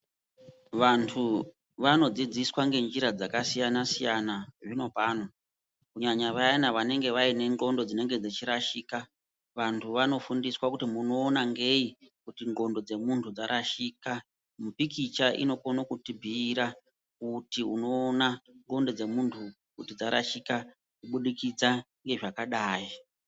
Vantu vanodzidziswa ngenjira dzakasiyana-siyana zvino pano. Kunyanya vayana vanenge vanendxondo dzinenge dzechirashika. Vantu vanofundiswa kuti munoona ngei kuti ndxondo dzemuntu dzarashika. Mupikicha inokone kutibhuira kuti unoona ndxondo dzemuntu dzarashika kubudikidza ngezvakadai.